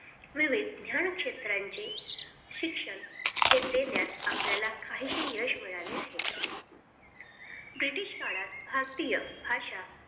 विविध ज्ञान क्षेत्रांचे शिक्षण देण्यात आपल्याला काहीसे यश मिळाले आहे. British काळात भारतीय भाषा